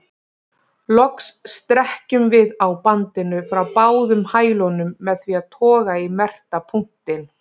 Loks strekkjum við á bandinu frá báðum hælunum með því að toga í merkta punktinn.